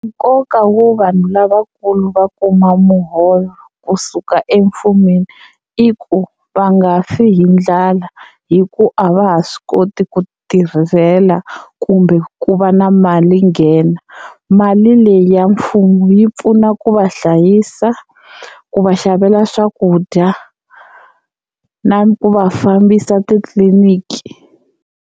Nkoka wo vanhu lavakulu va kuma muholo kusuka emfumeni i ku va nga fi hi ndlala hi ku a va ha swi koti ku titirhela kumbe ku ku va na mali nghena. Mali leyi ya mfumo yi pfuna ku va hlayisa ku va xavela swakudya na ku va fambisa titliliniki.